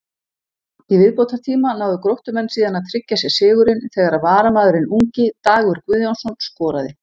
Í viðbótartíma náðu Gróttumenn síðan að tryggja sér sigurinn þegar varamaðurinn ungi Dagur Guðjónsson skoraði.